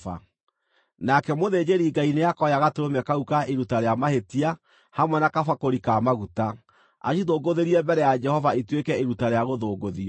Nake mũthĩnjĩri-Ngai nĩakoya gatũrũme kau ka iruta rĩa mahĩtia, hamwe na kabakũri ka maguta, acithũngũthĩrie mbere ya Jehova ituĩke iruta rĩa gũthũngũthio.